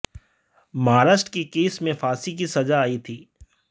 महाराष्ट्र के केस में फांसी की सजा आई थी